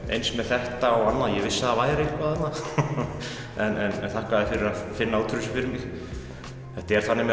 eins með þetta og annað ég vissi að það væri eitthvað þarna en þakka þér fyrir að finna út úr þessu fyrir mig þetta er þannig með